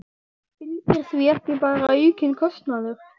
Fylgir því ekki bara aukinn kostnaður?